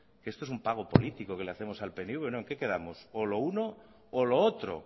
que esto es un pago político que le hacemos al pnv no en qué quedamos o lo uno o lo otro